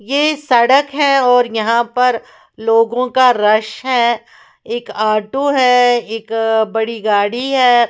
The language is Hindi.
यह सड़क है और यहाँ पर लोगों का रश है एक ऑटो है एक अ बड़ी गाड़ी है।